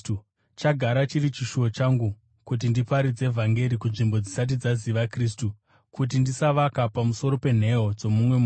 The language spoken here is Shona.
Chagara chiri chishuwo changu kuti ndiparidze vhangeri kunzvimbo dzisati dzaziva Kristu, kuti ndisavaka pamusoro penheyo dzomumwe munhu.